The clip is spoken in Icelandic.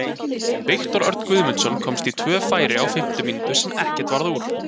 Viktor Örn Guðmundsson komst í tvö færi á fimmtu mínútu sem ekkert varð úr.